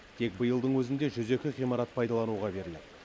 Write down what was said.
тек биылдың өзінде жүз екі ғимарат пайдалануға беріледі